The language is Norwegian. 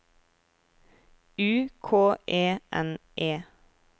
U K E N E